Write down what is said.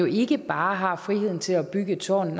ikke bare frihed til at bygge et tårn